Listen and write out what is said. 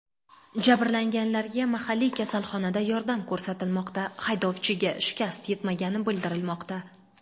Jabrlanganlarga mahalliy kasalxonada yordam ko‘rsatilmoqda, haydovchiga shikast yetmagani bildirilmoqda.